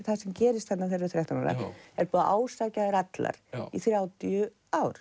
það sem gerist þarna þegar þær eru þrettán ára er búið að ásækja þær allar í þrjátíu ár